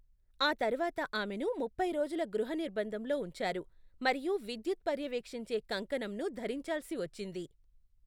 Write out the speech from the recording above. ఆ తర్వాత ఆమెను ముప్పై రోజుల గృహ నిర్బంధంలో ఉంచారు మరియు విద్యుత్ పర్యవేక్షించే కంకణంను ధరించాల్సి వచ్చింది.